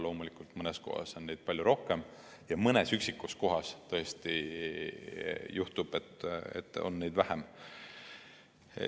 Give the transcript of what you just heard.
Loomulikult mõnes kohas on neid palju rohkem ja mõnes üksikus kohas tõesti juhtub, et neid on vähem.